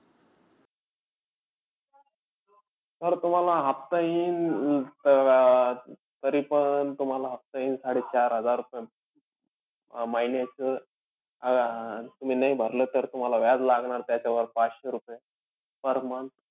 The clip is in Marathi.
Sir तुम्हाला हफ्ता येईन अं त तरीपण, तुम्हाला हफ्ता येईन साडे-चार हजार sir महिन्याचं, अं तुम्ही नाही भरलं तर व्याज लागणार त्याच्यावर पाचशे रुपये per month.